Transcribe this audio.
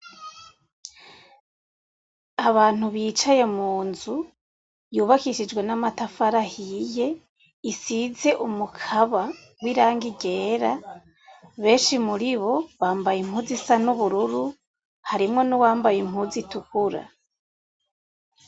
Abantu bicaye mu nzu yubakishijwe n'amatafari ahiye, isize umukaba w'irangi ryera, benshi muribo bambaye impuzu isa n'ubururu, harimwo n'uwambaye impuzu itukura.